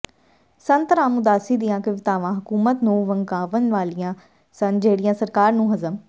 ਸੰਤ ਰਾਮ ਉਦਾਸੀ ਦੀਆਂ ਕਵਿਤਾਵਾਂ ਹਕੂਮਤ ਨੂੰ ਵੰਗਾਰਨ ਵਾਲੀਆਂ ਸਨ ਜਿਹੜੀਆਂ ਸਰਕਾਰ ਨੂੰ ਹਜ਼ਮ